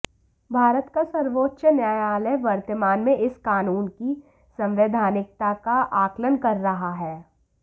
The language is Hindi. भारत का सर्वोच्च न्यायालय वर्तमान में इस कानून की संवैधानिकता का आकलन कर रहा है